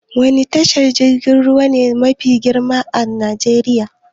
Wani tashar jirgin ruwa ne mafi girma a Najeriya?